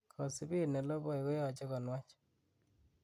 kosibeet neloboi koyoje ko nwach